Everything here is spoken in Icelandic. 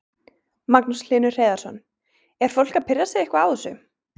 Magnús Hlynur Hreiðarsson: Er fólk að pirra sig eitthvað á þessu?